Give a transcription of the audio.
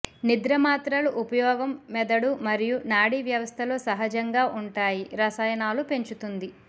నిద్ర మాత్రలు ఉపయోగం మెదడు మరియు నాడీ వ్యవస్థలో సహజంగా ఉంటాయి రసాయనాలు పెంచుతుంది